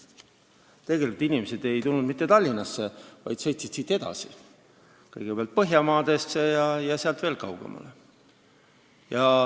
Tegelikult inimesed ei tulnud mitte Tallinnasse, vaid sõitsid siit edasi, kõigepealt läksid Põhjamaadesse ja sealt veel kaugemale.